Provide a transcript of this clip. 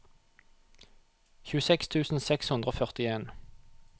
tjueseks tusen seks hundre og førtien